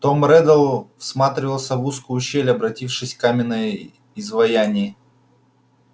том реддл всматривался в узкую щель обратившись в каменное изваяние